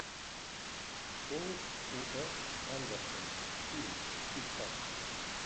пол уэс андерсон фильм искать